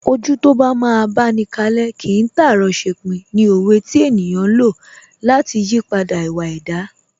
Ojú tó bá máa báni kalẹ́, kìí tàárọ̀ ṣepin ni òwe tí ènìyàn ń lò lati ìyípadà ìwà ẹ̀dá